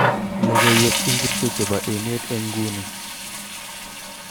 Logoiwek ingircho chebo emet eng nguni